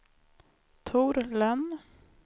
Tor Lönn